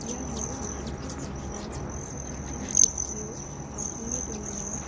iano me·asa saksa asongchakani chokkio asonge dongenga.